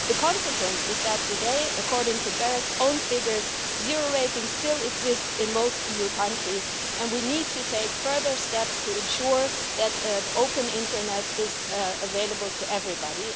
The consequence is that today, according to BEREC's own figures, zero-rating still exists in most EU countries and we need to take further steps to ensure that an open internet is available to everybody.